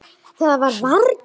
Það var varla.